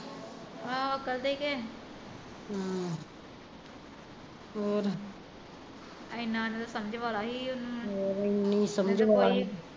ਆਹੋ ਅਕਲ ਤੇ ਈ ਕੇ ਹਮ ਏਨਾਂ ਤੇ ਸਮਜ ਵਾਲਾ ਸੀ ਉਹਨੂੰ ਕੋਈ